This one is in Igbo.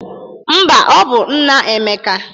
Mba, ọ bụ nna Emeka